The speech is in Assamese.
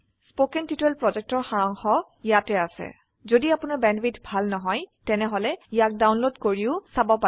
কথন শিক্ষণ প্ৰকল্পৰ সাৰাংশ ইয়াত আছে যদি আপোনাৰ বেণ্ডৱিডথ ভাল নহয় তেনেহলে ইয়াক ডাউনলোড কৰি চাব পাৰে